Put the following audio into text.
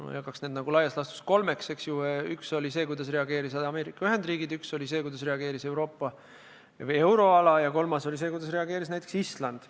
Ma jagaks need laias laastus kolmeks: üks oli see, kuidas reageerisid Ameerika Ühendriigid, teine oli see, kuidas reageeris euroala, ja kolmas oli see, kuidas reageeris näiteks Island.